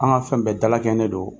An ka fɛn bɛɛ dalakɛɲɛnen don